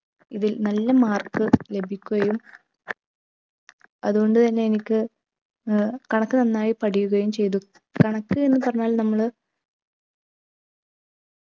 ഇതിൽ നല്ല mark ലഭിക്കുകയും അതുകൊണ്ട് തന്നെ എനിക്ക് ഏർ കണക്ക് നന്നായി പഠിക്കുകയും ചെയ്തു. കണക്ക് എന്ന് പറഞ്ഞാൽ നമ്മൾ